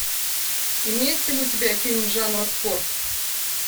имеется ли у тебя фильм жанра спорт